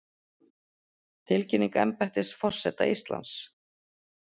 Tilkynning embættis forseta Íslands